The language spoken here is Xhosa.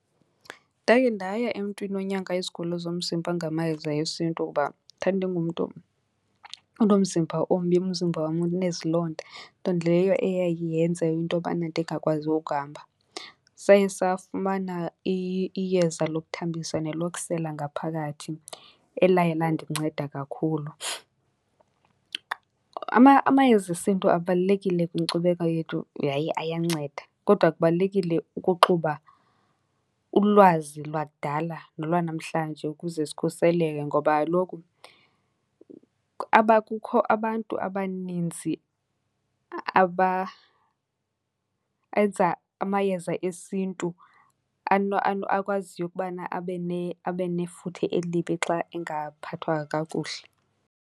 Ndake ndaya emntwini onyanga izigulo zomzimba ngamayeza esiNtu kuba ndandingumntu onomzimba ombi, umzimba wam unezilonda, nto leyo eyaye yenze into yobana ndingakwazi ukuhamba. Saye safumana iyeza lokuthambisa nelokusela ngaphakathi elaye landinceda kakhulu. Amayeza esiNtu abalulekile kwinkcubeko yethu yaye ayanceda, kodwa kubalulekile ukuxuba ulwazi lwakudala nolwanamhlanje ukuze sikhuseleke. Ngoba kaloku kukho abantu abaninzi enza amayeza esiNtu akwaziyo ukubana abe , abe nefuthe elibi xa engaphathwa kakuhle.